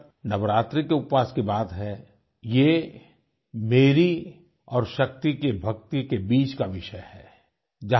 जहाँ तक नवरात्रि के उपवास की बात है ये मेरी और शक्ति के भक्ति के बीच का विषय है